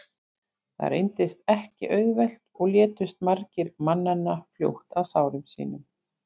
Það reyndist ekki auðvelt og létust margir mannanna fljótt af sárum sínum.